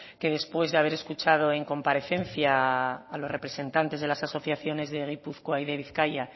que después de haber escuchado en comparecencia a los representantes de las asociaciones de gipuzkoa y de bizkaia